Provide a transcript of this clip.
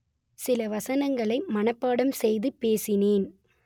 சில வசனங்களை மனப்பாடம் செய்து பேசினேன்